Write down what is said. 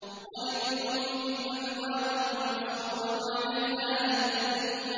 وَلِبُيُوتِهِمْ أَبْوَابًا وَسُرُرًا عَلَيْهَا يَتَّكِئُونَ